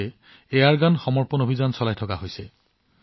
এই এয়াৰগান আত্মসমৰ্পণ অভিযানক এতিয়াঅধিক সম্প্ৰসাৰণ কৰা হৈছে